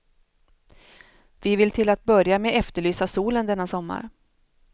Vi vill till att börja med efterlysa solen, denna sommar.